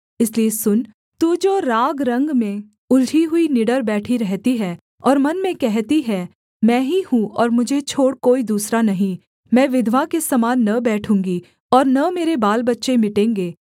इसलिए सुन तू जो रागरंग में उलझी हुई निडर बैठी रहती है और मन में कहती है कि मैं ही हूँ और मुझे छोड़ कोई दूसरा नहीं मैं विधवा के समान न बैठूँगी और न मेरे बालबच्चे मिटेंगे